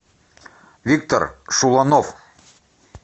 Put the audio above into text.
виктор шуланов